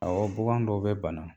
bugan dɔw bɛ bana.